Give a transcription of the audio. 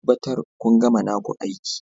Tabbatar kun gama naku aiki